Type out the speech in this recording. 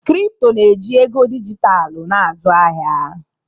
Kripto na-eji ego dijitalụ na-azụ ahịa.